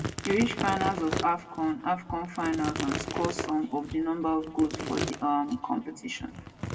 e reach finals of afcon afcon finals and score some of di number of goals for di um competition